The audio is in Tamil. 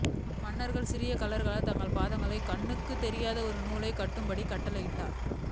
மன்னர் சிறிய கள்ளர்கள் தங்கள் பாதங்களை கண்ணுக்குத் தெரியாத ஒரு நூலைக் கட்டும்படி கட்டளையிட்டார்